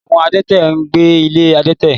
Àwọn adẹ́tẹ̀ ń gbé ilé adẹ́tẹ̀.